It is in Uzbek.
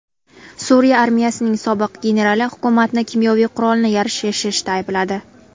Suriya armiyasining sobiq generali hukumatni kimyoviy qurolni yashirishda aybladi.